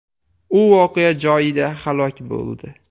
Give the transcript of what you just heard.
U voqea joyida halok bo‘ldi.